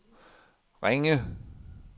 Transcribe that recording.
Ringe